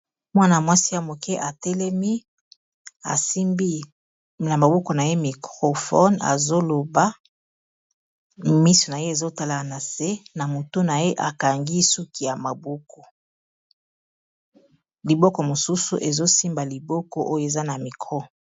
mwana-mwasi ya moke atelemi asimbi na maboko na ye microfone azoloba misi na ye ezotala na se na motu na ye akangi suki ya maboko liboko mosusu ezosimba liboko oyo eza na mikro